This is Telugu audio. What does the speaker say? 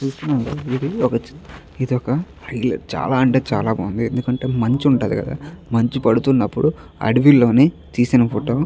చూస్తున్నాం కదా ఇది ఒక హైలైట్ చాలా బాగుంది. ఎందుకంటే మంచి ఉంటది కదా మంచి పడుతున్నప్పుడు అడవిలోని తీసిన ఫోటో .